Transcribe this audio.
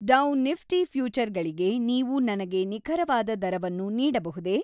ಡೌ Nifty ಫ್ಯೂಚರ್‌ಗಳಿಗೆ ನೀವು ನನಗೆ ನಿಖರವಾದ ದರವನ್ನು ನೀಡಬಹುದೇ?